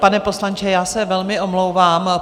Pane poslanče, já se velmi omlouvám.